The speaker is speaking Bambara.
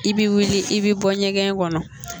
I bɛ wuli i bɛ bɔ ɲɛgɛn kɔnɔ